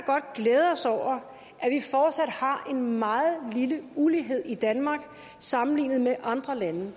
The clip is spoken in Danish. godt glæde os over at vi fortsat har en meget lille ulighed i danmark sammenlignet med andre lande